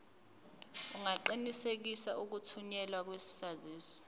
ungaqinisekisa ukuthunyelwa kwesaziso